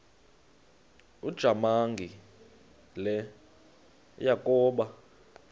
ujamangi le yakoba